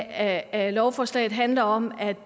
af lovforslaget handler om at